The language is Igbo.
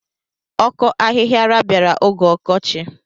Ọkọ ahihiara bịara oge ọkọchị.